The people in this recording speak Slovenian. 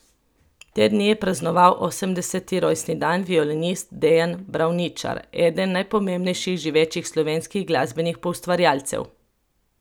Te dni je praznoval osemdeseti rojstni dan violinist Dejan Bravničar, eden najpomembnejših živečih slovenskih glasbenih poustvarjalcev.